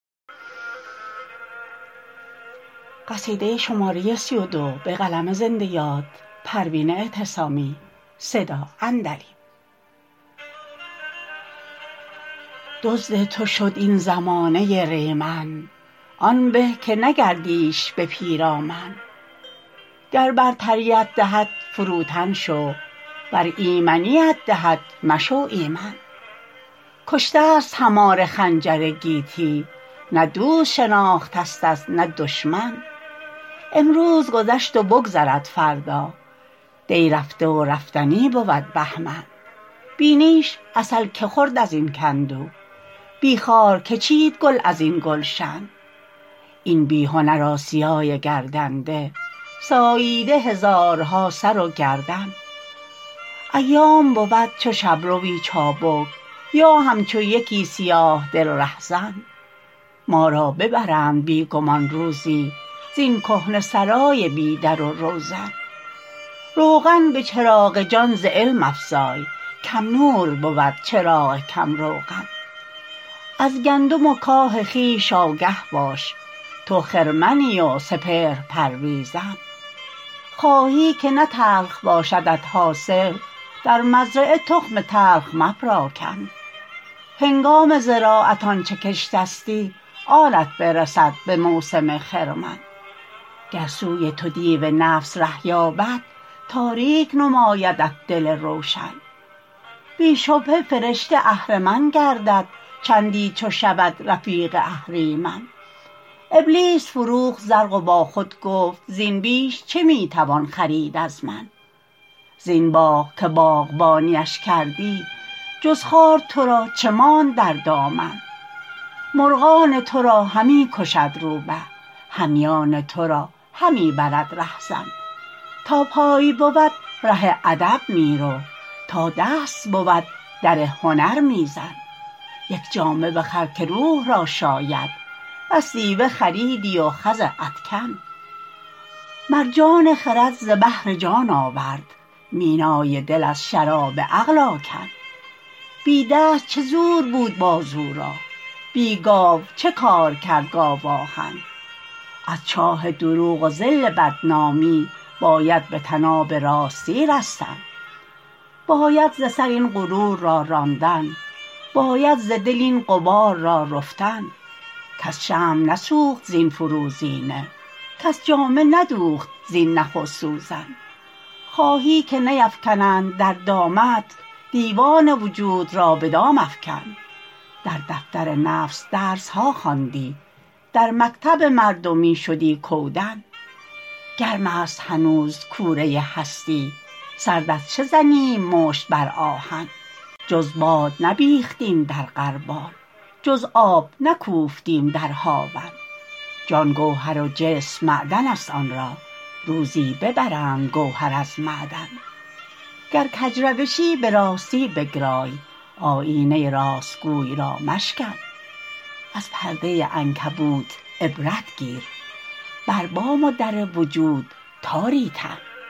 دزد تو شد این زمانه ریمن آن به که نگردیش به پیرامن گر برتریت دهد فروتن شو ور ایمنیت دهد مشو ایمن کشته است هماره خنجر گیتی نه دوست شناختست نه دشمن امروز گذشت و بگذرد فردا دی رفته و رفتنی بود بهمن بی نیش عسل که خورد ازین کندو بی خار که چید گل ازین گلشن این بیهنر آسیای گردنده ساییده هزارها سر و گردن ایام بود چو شبروی چابک یا همچو یکی سیاه دل رهزن ما را ببرند بی گمان روزی زین کهنه سرای بی در و روزن روغن بچراغ جان ز علم افزای کم نور بود چراغ کم روغن از گندم و کاه خویش آگه باش تو خرمنی و سپهر پرویزن خواهی که نه تلخ باشدت حاصل در مزرعه تخم تلخ مپراکن هنگام زراعت آنچه کشتستی آنت برسد بموسم خرمن گر سوی تو دیو نفس ره یابد تاریک نمایدت دل روشن بی شبهه فرشته اهرمن گردد چندی چو شود رفیق اهریمن ابلیس فروخت زرق وبا خود گفت زین بیش چه میتوان خرید از من زین باغ که باغبانیش کردی جز خار ترا چه ماند در دامن مرغان ترا همی کشد رو به همیان ترا همی برد رهزن تا پای بود راه ادب میرو تا دست بود در هنر میزن یک جامه بخر که روح را شاید بس دیبه خریدی و خز ادکن مرجان خرد ز بحر جان آورد مینای دل از شراب عقل آکن بی دست چه زور بود بازو را بی گاو چه کار کرد گاو آهن از چاه دروغ و ذل بدنامی باید به طناب راستی رستن باید ز سر این غرور را راندن باید ز دل این غبار را رفتن کس شمع نسوخت زین فروزینه کس جامه ندوخت زین نخ و سوزن خواهی که نیفکنند در دامت دیوان وجود را به دام افکن در دفتر نفس درسها خواندی در مکتب مردمی شدی کودن گرمست هنوز کوره هستی سرد از چه زنیم مشت بر آهن جز باد نبیختیم در غربال جز آب نکوفتیم در هاون جان گوهر و جسم معدنست آنرا روزی ببرند گوهر از معدن گر کج روشی براستی بگرای آیینه راستگوی را مشکن از پرده عنکبوت عبرت گیر بر بام و در وجود تاری تن